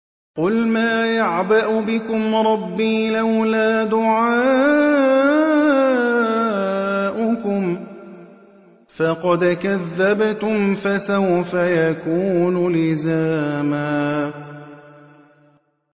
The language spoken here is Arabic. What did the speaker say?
قُلْ مَا يَعْبَأُ بِكُمْ رَبِّي لَوْلَا دُعَاؤُكُمْ ۖ فَقَدْ كَذَّبْتُمْ فَسَوْفَ يَكُونُ لِزَامًا